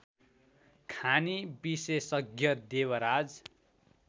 खानी विशेषज्ञ देवराज